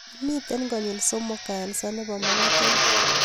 Miten konyil somok kansa nebo magatet